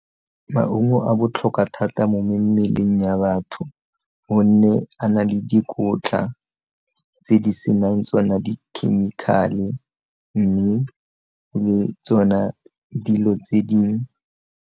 Maungo a botlhokwa thata mo mmeleng ya batho gonne a na le dikotla tse di senang tsona di-chemical-e mme le tsona dilo tse dingwe.